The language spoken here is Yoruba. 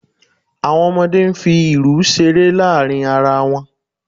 Àwọn ọmọdé ń fi irù ṣeré láàrin ara wọn